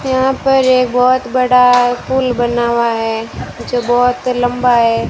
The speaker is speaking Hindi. यहां पर एक बहुत बड़ा पुल बना हुआ है जो बहुत लंबा है।